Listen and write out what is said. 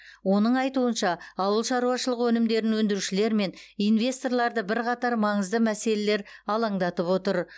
оның айтуынша ауыл шаруашылық өнімдерін өндірушілер мен инвесторларды бірқатар маңызды мәселелер алаңдатып отыр